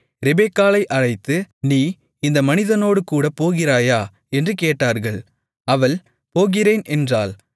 ரெபெக்காளை அழைத்து நீ இந்த மனிதனோடுகூடப் போகிறாயா என்று கேட்டார்கள் அவள் போகிறேன் என்றாள்